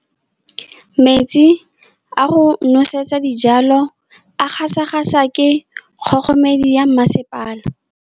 Metsi a go nosetsa dijalo a gasa gasa ke kgogomedi ya masepala.